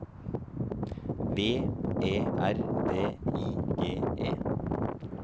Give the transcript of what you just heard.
V E R D I G E